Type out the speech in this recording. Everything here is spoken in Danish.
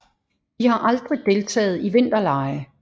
De har aldrig deltaget i vinterlege